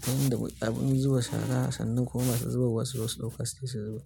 Ta hanyar da abin zuba shara, sannan kuma masu zuba wa su-zosu ɗauka su tafi su zubar.